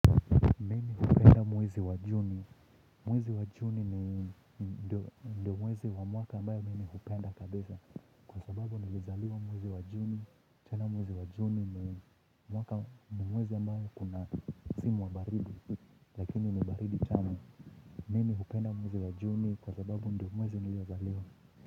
Mwezi wa juni. Mwezi wa juni ni ndio mwezi wa mwaka ambayo mimi hupenda kabisa. Kwa sababu nilizaliwa mwezi wa juni. Chana mwezi wa juni ni mwaka mwezi ambao kuna msimu wa baridi. Lakini ni baridi tamu. Mimi hupenda mwezi wa juni kwa sababu ndio mwezi niliozaliwa.